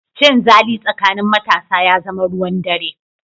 Cinzali tsakanin matasa ya zama ruwan dare.